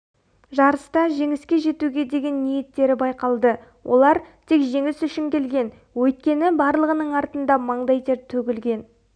жарыста жеңіске жетуге деген ниеттері байқалды олар тек жеңіс үшін келген өйткені барлығының артында маңдай тер төгілген